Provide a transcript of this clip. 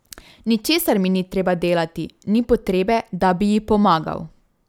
Ničesar mi ni treba delati, ni potrebe, da bi ji pomagal.